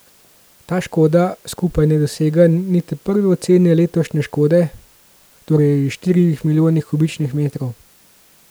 Ta škoda skupaj ne dosega niti prve ocene letošnje škode, torej štirih milijonov kubičnih metrov.